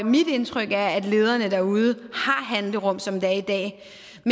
mit indtryk er at lederne derude har handlerum som det er i dag